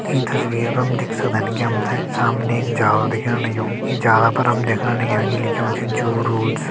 ईं तस्वीर पर हम देख सक्दन की हम ते सामने एक जाला दिखण लग्युं इ जाला पर हम देखण लग्यां कि लिख्युं च जू रूल्स ।